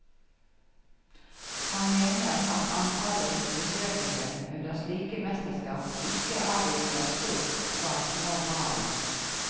Han mener at antallet besøkende under slike mesterskap ikke avviker stort fra normalen.